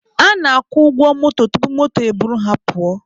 Ha na-agwụ ụgwọ moto tupu moto e buru ha pụọ.